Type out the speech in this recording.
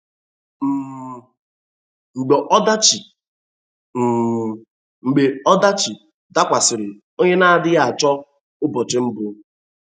um Mgbe ọdachi um Mgbe ọdachi dakwasịrị, ònye na-adịghị achọ ụbọchị mbụ?